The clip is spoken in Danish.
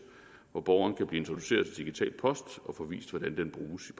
hvor borgeren kan blive introduceret til digital post og få vist hvordan den bruges